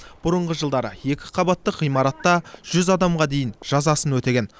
бұрынғы жылдары екі қабаттық ғимаратта жүз адамға дейін жазасын өтеген